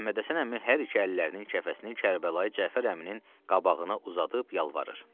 Məhəmmədhəsən əmi hər iki əllərinin kəfəsini Kərbəlayı Cəfər əminin qabağına uzadıb yalvarır.